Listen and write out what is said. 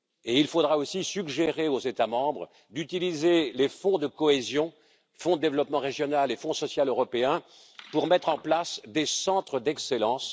Il faudra aussi suggérer aux États membres d'utiliser les fonds de cohésion, Fonds de développement régional et Fonds social européen, pour mettre en place des centres d'excellence.